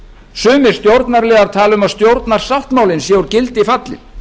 sumir stjórnarliðar tala um að stjórnarsáttmálinn sé úr gildi fallinn